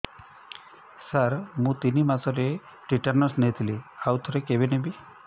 ସାର ମୁ ତିନି ମାସରେ ଟିଟାନସ ନେଇଥିଲି ଆଉ କେବେ ନେବି